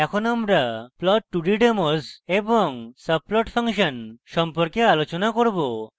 এখন আমরা plot2d demos demos এবং subplot subplot ফাংশন সম্পর্কে আলোচনা করব